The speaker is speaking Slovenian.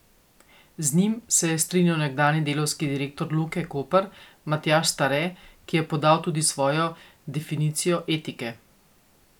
Z njim se je strinjal nekdanji delavski direktor Luke Koper Matjaž Stare, ki je podal tudi svojo definicijo etike.